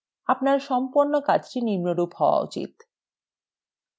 আপনার সম্পন্ন কাজটি নিম্নরূপ হওয়া উচিত